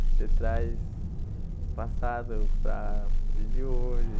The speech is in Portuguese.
Você traz o passado para para o dia de hoje.